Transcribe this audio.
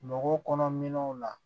Mɔgɔw kɔnɔ minɛnw na